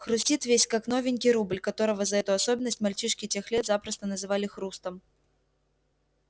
хрустит весь как новенький рубль которого за эту особенность мальчишки тех лет запросто называли хрустом